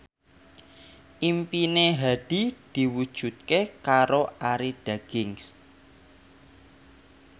impine Hadi diwujudke karo Arie Daginks